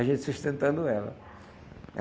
A gente sustentando ela.